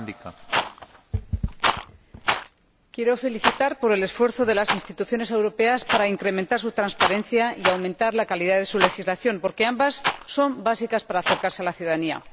Señor Presidente, saludo los esfuerzos de las instituciones europeas por incrementar su transparencia y aumentar la calidad de su legislación, porque ambas son básicas para acercarse a la ciudadanía.